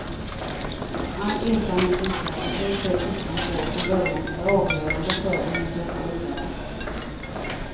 All erfarenhet visar att det stöd flickan får från början är avgörande för om hon törs gå vidare.